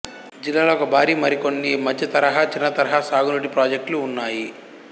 జిల్లాలో ఒక భారీ మరికొన్ని మధ్యతరహా చిన్నతరహా సాగునీటి పాజెక్టులు ఉన్నాయి